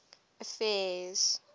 affairs